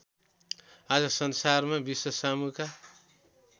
आज संसारमा विश्वसामुका